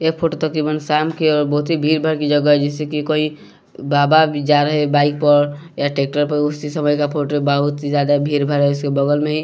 एक फोटो तकरीबन शाम की है बहुत ही भीड़भाड़ की जगह है जिससे की कोई बाबा जा रहे हैं बाइक पर या ट्रैक्टर पर इस समय का फोटो है बहुत ही ज्यादा भीड़ भाड़ा इसके बगल में ही--